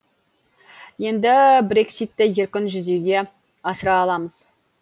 енді брекситті еркін жүзеге асыра аламыз